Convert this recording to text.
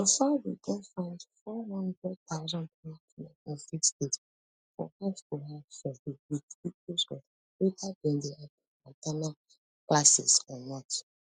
so far we don find four hundred thousand pregnant women in six states for housetohouse survey wit details of weda dem dey at ten d an ten atal [classes] or not